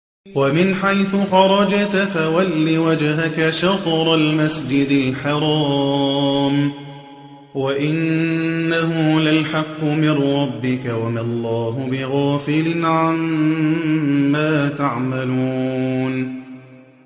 وَمِنْ حَيْثُ خَرَجْتَ فَوَلِّ وَجْهَكَ شَطْرَ الْمَسْجِدِ الْحَرَامِ ۖ وَإِنَّهُ لَلْحَقُّ مِن رَّبِّكَ ۗ وَمَا اللَّهُ بِغَافِلٍ عَمَّا تَعْمَلُونَ